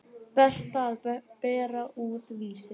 Berta að bera út Vísi.